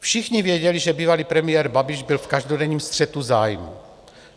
Všichni věděli, že bývalý premiér Babiš byl v každodenním střetu zájmů.